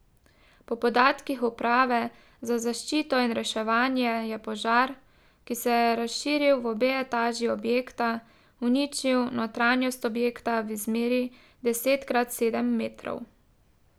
Po podatkih uprave za zaščito in reševanje je požar, ki se je razširil v obe etaži objekta, uničil notranjost objekta v izmeri deset krat sedem metrov.